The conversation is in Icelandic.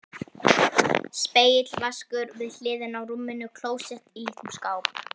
Spegill, vaskur við hliðina á rúminu, klósett í litlum skáp.